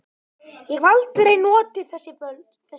Ég hef aldrei notið þess svona vel.